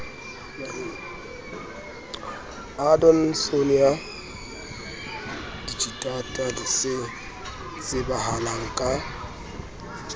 adonsonia digitata se tsebahalang ka